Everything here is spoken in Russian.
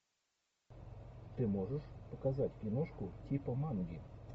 ты можешь показать киношку типа манги